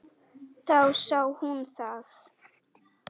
Þá sá hún það.